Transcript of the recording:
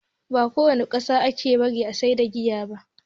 Ba ko wani ƙasa ake bari a sayar da giya ba